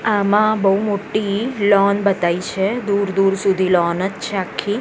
આમાં બૌ મોટ્ટી લૉન બતાઇ છે દૂર દૂર સુધી લૉન જ છે આખી.